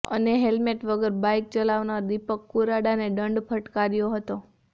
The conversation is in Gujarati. અને હેલમેટ વગર બાઇક ચલાવનાર દિપક કુરાડાને દંડ ફટકાર્યો હતો